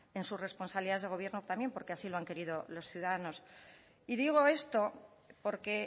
en sus responsabilidades de gobierno también porque así lo han querido los ciudadanos y digo esto porque